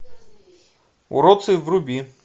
уродцы вруби